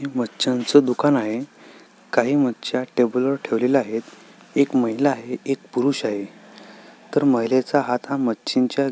मछ्यानच दुकान आहे काही मछ्या टेबलवर ठेवलेल्या आहेत एक महिला आहे एक पुरुष आहे तर महिलेचा हात हा मछिंच्या --